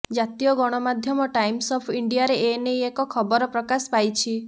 ଜାତୀୟ ଗଣମାଧ୍ୟମ times of ଇଣ୍ଡିଆରେ ଏ ନେଇ ଏକ ଖବର ପ୍ରକାଶ ପାଇଛି